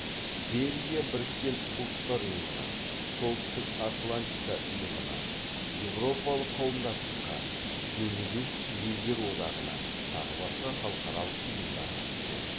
бельгия біріккен ұлттар ұйымына солтүстік атлантика ұйымына еуропалық қауымдастыққа бенилюкс елдер одағына тағы басқа халықаралық ұйымдарға мүше